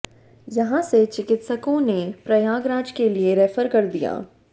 यहां से चिकित्सकों ने प्रयागराज के लिए रेफर कर दिया